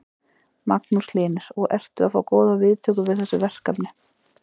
Magnús Hlynur: Og ertu að fá góðar viðtökur við þessu verkefni?